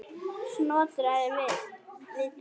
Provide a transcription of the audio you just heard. Snotra er vitur